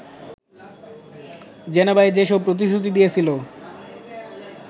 জেনেভায় যেসব প্রতিশ্রুতি দিয়েছিল